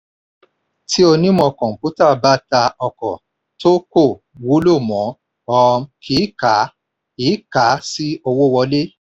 tí onímọ̀ kọ̀ǹpútà bá ta ọkọ̀ tó kò wúlò mọ́ a um kì í kà á í kà á sí owó wọlé.